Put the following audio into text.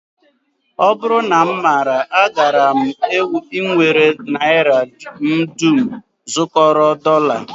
Ọ bụrụ na m maara agaara m ewere naira m dum zụkọrọ dọla